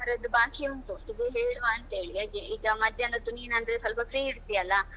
ಇನ್ನು ಕೆಲವರದ್ದು ಬಾಕಿ ಉಂಟು ಇದು ಹೇಳುವಂತೇಳಿ ಹಾಗೆ ಈಗ ಮಧ್ಯಾಹ್ನದ್ದು ನೀನಂದ್ರೆ ಸ್ವಲ್ಪ free ಇರ್ತಿಯಲ್ಲ?